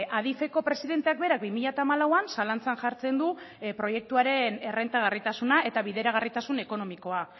adifeko presidenteak berak bi mila hamalauan zalantzan jartzen du proiektuaren errentagarritasuna eta bideragarritasun ekonomikoa